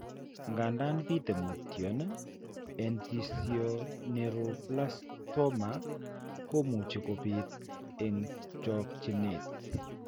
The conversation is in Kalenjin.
Ng'andan ko biite mutyoon, esthesioneuroblastoma komuch ko biit eng' chokchineet.